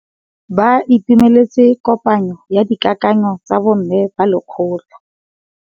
Ba itumeletse kôpanyo ya dikakanyô tsa bo mme ba lekgotla.